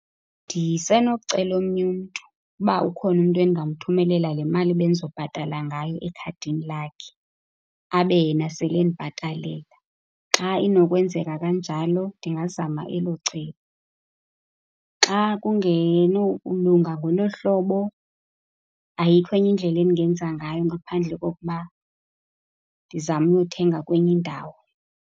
Ndisenokucela omnye umntu. Uba ukhona umntu endingamthumelela le mali ebendizobhatala ngayo ekhadini lakhe, abe yena sele endibhatalela. Xa inokwenzeka kanjalo ndingazama elo cebo. Xa kungenokulunga ngolo hlobo, ayikho enye indlela endingenza ngayo ngaphandle kokuba ndizame uyothenga kwenye indawo.